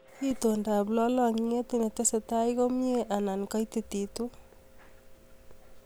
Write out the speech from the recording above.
Itondoab lolongiet netestai komie anan katititu?